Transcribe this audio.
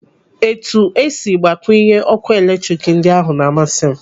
Etu esiri gbakwunye ọkụ eletrik ndị ahụ na-amasị m.